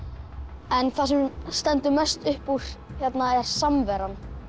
en það sem stendur mest upp úr hérna er samveran